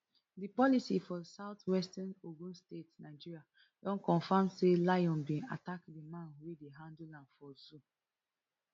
di police for southwestern ogun state nigeria don confam say lion bin attack di man wey dey handle am for zoo